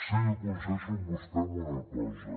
sí que coincideixo amb vostè en una cosa